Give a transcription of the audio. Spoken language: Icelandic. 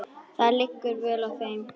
Það liggur vel á þeim.